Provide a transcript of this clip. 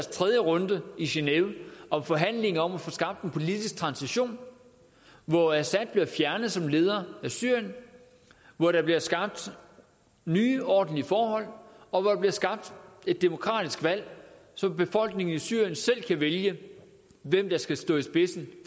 tredje runde i genève om forhandlinger om at få skabt en politisk transition hvor assad bliver fjernet som leder af syrien hvor der bliver skabt nye ordentlige forhold og hvor der bliver skabt et demokratisk valg så befolkningen i syrien selv kan vælge hvem der skal stå i spidsen